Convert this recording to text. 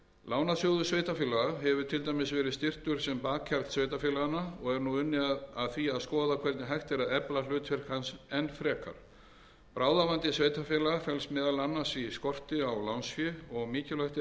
lánasjóður sveitarfélaganna hefur til dæmis verið styrktur sem bakhjarl sveitarfélaganna og er nú unnið að því að skoða hvernig hægt er að efla hlutverk hans enn frekar bráðavandi sveitarfélaga felst meðal annars í skorti á lánsfé og mikilvægt er að